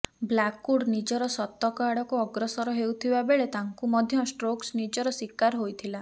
Blackwood ନିଜର ଶତକ ଆଡ଼କୁ ଅଗ୍ରସର ହେଉଥିବା ବେଳେ ତାଙ୍କୁ ମଧ୍ୟ ଷ୍ଟୋକ୍ସ ନିଜର ଶିକାର ହୋଇଥିଲା